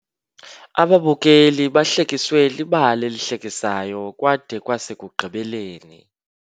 Ababukeli bahlekiswe libali elihlekisayo kwade kwasekugqibeleni.